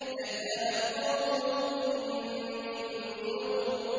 كَذَّبَتْ قَوْمُ لُوطٍ بِالنُّذُرِ